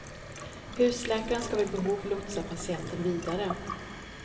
Husläkaren ska vid behov lotsa patienten vidare.